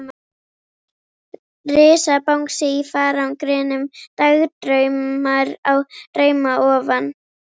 Risabangsi í farangrinum, dagdraumar á drauma ofan.